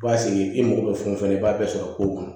B'a sigi i mago bɛ fɛn o fɛn na i b'a bɛɛ sɔrɔ ko kɔnɔ